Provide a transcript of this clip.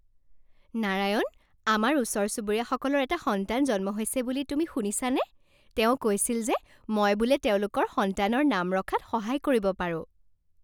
নাৰায়ণ, আমাৰ ওচৰ চুবুৰীয়াসকলৰ এটা সন্তান জন্ম হৈছে বুলি তুমি শুনিছানে? তেওঁ কৈছিল যে মই বোলে তেওঁলোকৰ সন্তানৰ নাম ৰখাত সহায় কৰিব পাৰোঁ।